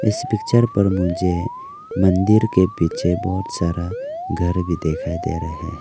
इस पिक्चर पर मुझे मंदिर के पीछे बहुत सारा घर भी दिखाई दे रहे हैं।